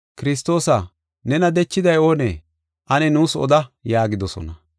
“Kiristoosa! Nena dechiday oonee? Ane nuus oda” yaagidosona.